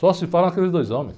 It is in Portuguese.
Só se fala naqueles dois homens.